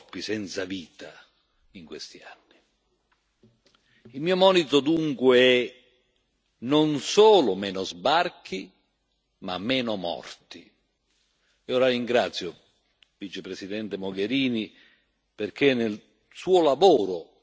Il mio monito, dunque, è non solo meno sbarchi, ma meno morti. E ora ringrazio la Vicepresidente Mogherini, perché nel suo lavoro e nel suo discorso non ha mai smarrito la dimensione umana.